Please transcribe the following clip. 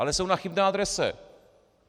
Ale jsou na chybné adrese.